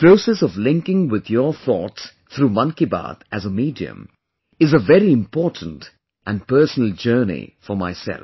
The process of linking with your thoughts through 'Mann Ki Baat' as a medium is a very important and personal journey for myself